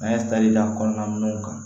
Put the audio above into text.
An ye taji da a kɔnɔna ninnu kan